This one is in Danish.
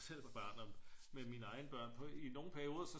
Jeg selv var barn og med mine egne børn på i nogle perioder så